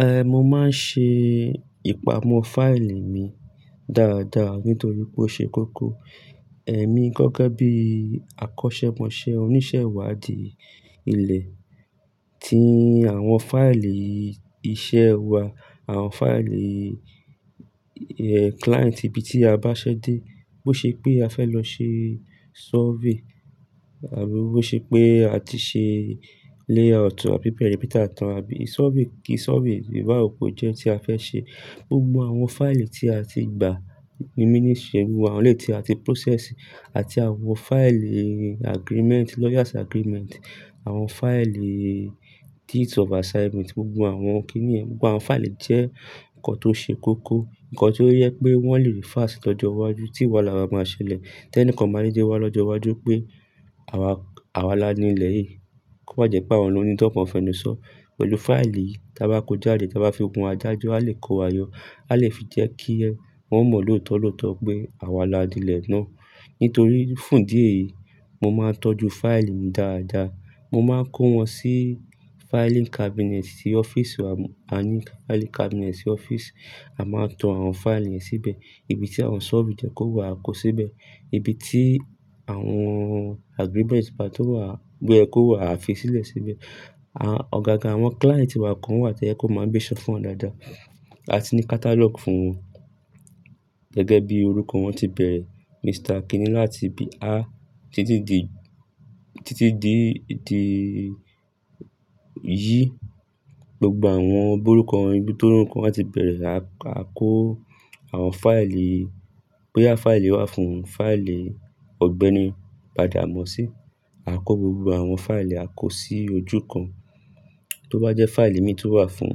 Eh, mo máa ń ṣe ìpamọ́ fáìlì mi dáadáa nítorí pé ó ṣe kókó. Èmi gẹ́gẹ́ bí akọ́ṣẹ́mọṣẹ́ oníṣẹ́ ìwádìí ilẹ̀ ti àwọn fáìlì iṣẹ́ wa, àwọn fáìlì, eh, client ibi tí a bá ṣẹ́dé, bó ṣe pé a fẹ́ lọ ṣe survey àbí bó ṣe pé a ti ṣe layout àbí perimeter tán àbí survey kí survey ìbá òpó jẹ́ tí a fẹ́ ṣe. Gbogbo àwọn fáìlì tí a ti gbà ní ministry, gbogbo àwọn eléyìí tí a ti process àti àwọn fáìlì agreement, lawyers agreement, àwọn fáìlì deeds of assignment, gbogbo àwọn kí ni yẹ́n, gbogbo àwọn fáìlì jẹ́ nǹkan tó ṣe kókó, nǹkan tó yẹ pé wọ́n lè refer sí lọ́jọ́ iwájú tí wàhálà bá máa ṣẹlẹ̀. Tẹ́ní kan máa dédé wá lọ́jọ́ iwájú pé àwa, àwa la ni ilẹ̀ yìí. Kò má jẹ́ pé àwọn lọ ni tan kàn fẹnu sọ. Pẹ̀lú fáìlì yìí tí a bá kó jáde, tí a bá fi kún adájọ́, a lè kó wayọ̀. A lè fi jẹ́ kí ẹ, wọ́n mọ̀ lọ́tọ́lọ́tọ́ pé àwa la ni ilẹ̀ náà. Nítorí fún ìdí eyìí mo máa ń tọ́jú fáìlì mi dáadáa. Mo máan kó wọn sí filing cabinet tí office wa. A ní filing cabinet sí office. A máa tọ àwọn fáìlì yẹn síbẹ̀. Ibi tí àwọn survey jẹ́ kó wà a kó síbẹ̀. Ibi tí àwọn agreement bá tó wà gbẹ́ kó wà a fi sílẹ̀ síbẹ̀. À, ọ̀gága àwọn client wa kan wà tío ẹ kó máa ń gbéṣẹ́ fún wọn dáadáa. A ti ní catalogue fún wọn. Gẹ́gẹ́ bí orúkọ wan tí bẹ̀ẹ̀rẹ̀, Mr kíni láti bí a títí di Z. Gbogbo àwọn bó orúkọ wọn, ibi tó orúkọ wọn á ti bẹ̀rẹ̀, a kó àwọn fáìlì. Boys fáìlì wà fún fáìlì Ọ̀gbẹ́ni Badamọ́sí, a kó gbogbo àwọn fáìlì ẹ a kó sí ojú kan. Tó bá jẹ́ fáìlì mi tún wà fún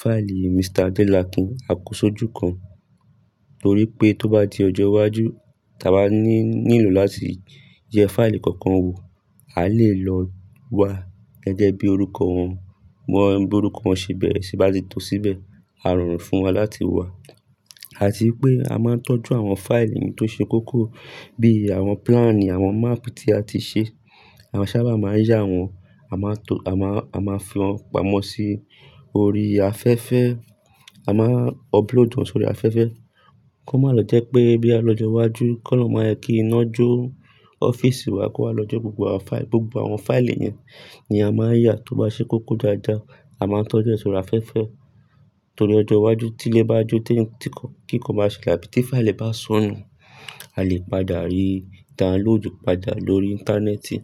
fáìlì Mr. Adélakún, a kó sí ojú kan. Nítorí pé tó bá di ọjọ́ iwájú tí a bá ní, nílò láti jẹ fáìlì kankan wò, a lè lọ wa gẹ́gẹ́ bí orúkọ wọn. Wọn bó orúkọ wọn ṣe bẹ̀rẹ̀, ṣe bá ti tó síbẹ̀, a rọrùn fún wa láti wá. Àti pé a máa ń tọ́jú àwọn fáìlì mi tó ṣe kókó bí i àwọn plan, àwọn map tí a ti ṣe. Àwa ṣábà máa ń yá wọn, a máa tọ, a máa, a máa fi wọ́n pamọ́ sí orí afẹ́fẹ́. A máa upload wọn sórí afẹ́fẹ́. Kan má lọ jẹ́ pé bí a lọ́jọ́ iwájú kó lọ máa yẹ kí iná jó ọ́fíísì wa kó wa lọ́jọ́ gbogbo àwọn fáì-- gbogbo àwọn fáìlì yẹn ni a máa yá tó bá ṣe kókó dáadáa. A máa tọ́jú ẹ́ sórí afẹ́fẹ́. Nítorí ọjọ́ iwájú tí ilé bá jó, tí ẹni tí kan kí kan máa ṣẹlẹ̀ àbí tí fáìlì bá sọnù, a lè padà rí download padà lórí ìńtánẹ́ẹ̀tì.